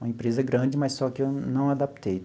Uma empresa grande, mas só que eu não adaptei.